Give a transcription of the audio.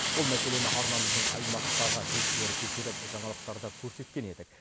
бұл мәселені арнамыздың аймақтағы тілшілері көтеріп жаңалықтардан көрсеткен едік